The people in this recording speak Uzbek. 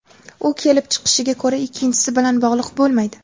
U kelib chiqishiga ko‘ra ikkinchisi bilan bog‘liq bo‘lmaydi.